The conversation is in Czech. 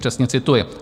Přesně cituji.